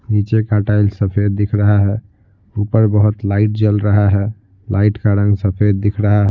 नीचे का टाइल सफेद दिख रहा है ऊपर बहुत लाइट जल रहा है लाइट का रंग सफेद दिख रहा --